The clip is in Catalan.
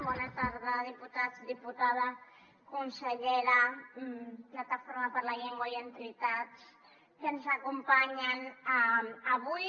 bona tarda diputats diputada consellera plataforma per la llengua i entitats que ens acompanyen avui